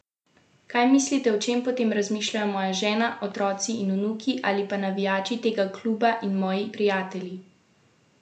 Kaj mislite, o čem potem razmišljajo moja žena, otroci in vnuki ali pa navijači tega kluba in moji prijatelji?